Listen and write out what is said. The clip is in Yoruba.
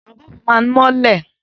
Àwọn bọ́ọ̀bù máa ń mọ́lẹ̀.